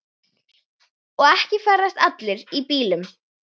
Og ekki ferðast allir í bílum.